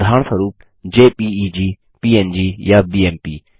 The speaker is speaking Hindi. उदाहरणस्वरुप जेपीईजी पंग या बीएमपी